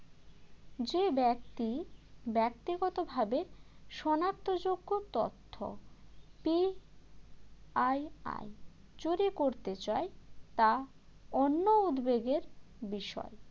যে ব্যক্তি ব্যক্তিগতভাবে সনাক্তযোগ্য তথ্য PII যদি করতে চায় তা অন্য উদ্বেগের বিষয়